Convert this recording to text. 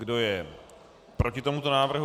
Kdo je proti tomuto návrhu?